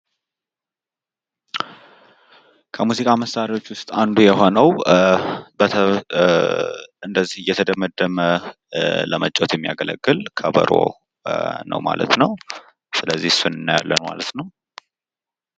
ከሙዚቃ መሳሪያዎች ውስጥ አንዱ የሆነው እንደዚህ እየተደመደመ ለመጫወት የሚያገለግል ከበሮ ነው ማለት ነው። ስለዚህ እሱን እናያለን ማለት ነው።